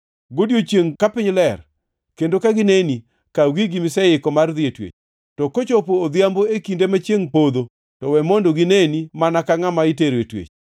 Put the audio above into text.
Godiechiengʼ ka piny ler, kendo ka gineni, kaw gigi miseiko mar dhi e twech. To kochopo odhiambo e kinde ma chiengʼ podho, to we mondo gineni mana ka ngʼama itero twech.